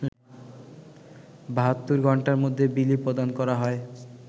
৭২ ঘন্টার মধ্যে বিলি প্রদান করা হয়